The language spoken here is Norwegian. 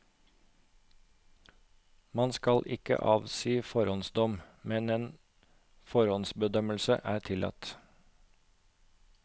Man skal ikke avsi forhåndsdom, men en forhåndsbedømmelse er tillatt.